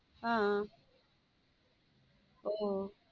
ஆஹ் ஓ